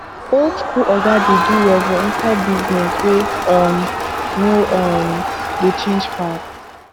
old school oga dey do well for inside business wey um no um dey change fast